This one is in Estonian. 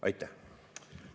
Aitäh!